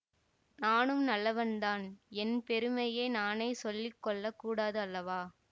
நானும் நல்லவன்தான் என் பெருமையை நானே சொல்லி கொள்ள கூடாது அல்லவா